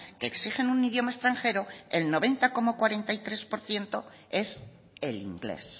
que exigen un idioma extranjero el noventa coma cuarenta y tres por ciento es el inglés